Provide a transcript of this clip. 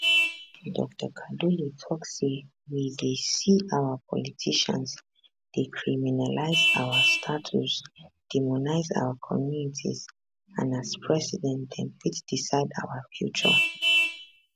dr kaduli tok say we dey see our politicians dey criminalise our status demonise our communities and as president dem fit decide our future